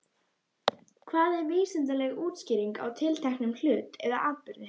Hvað er vísindaleg útskýring á tilteknum hlut eða atburði?